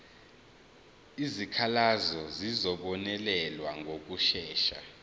izikhalazo zizobonelelwa ngokushesha